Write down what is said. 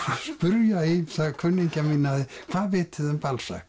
spyrja ýmsa kunningja mína hvað vitið þið um